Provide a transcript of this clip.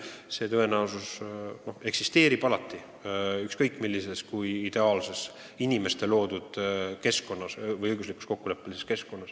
See võimalus eksisteerib alati, ükskõik kui ideaalses inimeste loodud õiguslikus keskkonnas me ka ei ela.